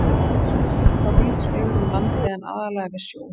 Þau verpa víðs vegar um landið en aðallega við sjó.